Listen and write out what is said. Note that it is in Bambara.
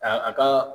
A a ka